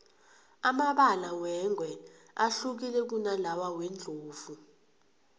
amabala wengwe ahlukile kunalawa wendlovu